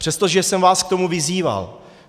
Přestože jsem vás k tomu vyzýval.